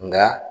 Nka